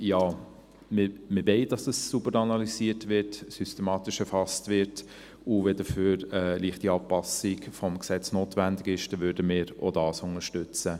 Ja, wir wollen, dass dies sauber analysiert wird, systematisch erfasst wird, und wenn dafür eine leichte Anpassung des Gesetzes notwendig ist, würden wir auch das unterstützen.